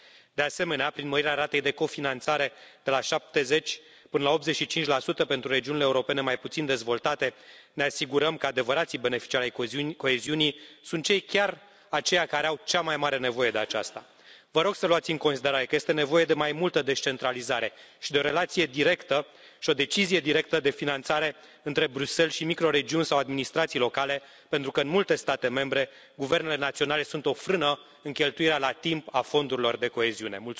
De asemenea, prin mărirea ratei de cofinanțare de la 70 până la 85 pentru regiunile europene mai puțin dezvoltate, ne asigurăm că adevărații beneficiari ai coeziunii sunt chiar aceia care au cea mai mare nevoie de aceasta. Vă rog să luați în considerare că este nevoie de mai multă descentralizare și de o relație directă și o decizie directă de finanțare între Bruxelles și microregiuni sau administrații locale pentru că, în multe state membre, guvernele naționale sunt o frână în cheltuirea la timp a fondurilor de coeziune.